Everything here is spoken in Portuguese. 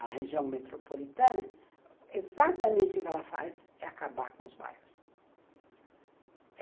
A região metropolitana, exatamente o que ela faz é acabar com os bairros.